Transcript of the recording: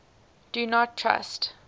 do not trust